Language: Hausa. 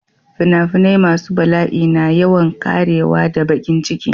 Finafinai masu bala'i na yawan ƙarewa da baƙin ciki.